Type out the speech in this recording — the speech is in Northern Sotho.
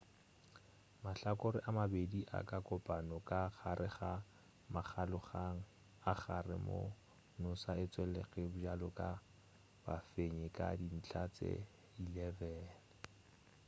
mahlakore a mabedi a ka kopana ka gare ga makgaolakgang a gare moo noosa e tšwelege bjalo ka bafenyi ka dintlha tše 11